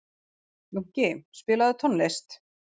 Jónki, spilaðu tónlist.